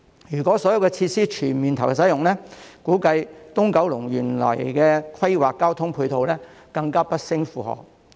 如果所有設施全面投入使用，估計九龍東原來規劃的交通配套將會更不勝負荷。